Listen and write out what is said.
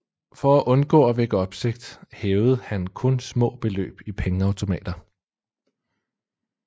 For at undgå at vække opsigt hævede han kun små beløb i pengeautomater